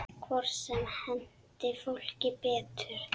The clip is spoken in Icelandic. Hvort sem henti fólki betur.